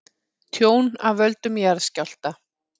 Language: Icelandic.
Tjón af völdum jarðskjálfta